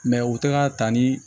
u tɛ ka ta ni